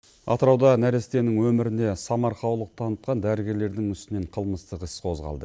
атырауда нәрестенің өміріне самарқаулық танытқан дәрігерлердің үстінен қылмыстық іс қозғалды